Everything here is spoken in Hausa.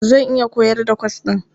Zan iya koyar da kwas ɗin.